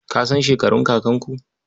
Ka san shekarun kakanku?